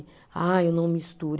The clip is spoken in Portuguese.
Ah, eu não misturo.